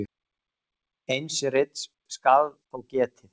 Eins rits skal þó getið.